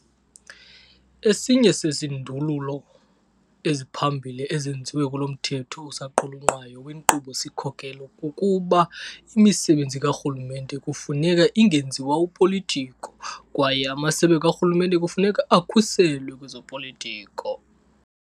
Esinye sezindululo eziphambili ezenziwe kulo mthetho osaqulunqwayo wenkqubo-sikhokelo kukuba imisebenzi karhulumente kufuneka ingenziwa upolitiko kwaye amasebe karhulumente kufuneka akhuselwe kwezopolitiko.